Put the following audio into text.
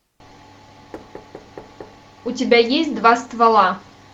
у тебя есть два ствола